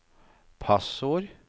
passord